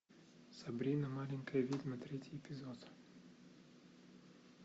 сабрина маленькая ведьма третий эпизод